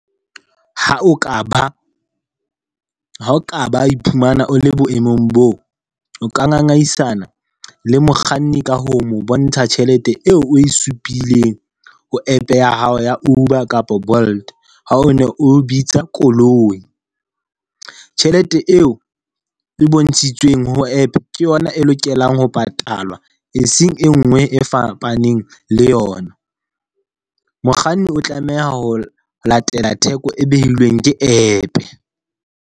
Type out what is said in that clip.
Ha o ka ba, ha o ka ba o iphumana o le boemong boo. O ka ngangisana le mokganni ka ho mo bontsha tjhelete eo o e supileng ho app ya hao ya Uber kapa Bolt, ha o ne o bitsa koloi. Tjhelete eo e bontshitsweng ho app ke yona e lokelwang ho patalwa e seng e nngwe e fapaneng le yona. Mokganni o tlameha ho latela theko e behilweng ke App.